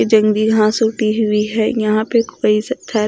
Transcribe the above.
ये जंगली घास उटी हुई है यहां पे कोई सत्थर--